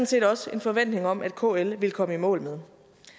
set også en forventning om at kl ville komme i mål med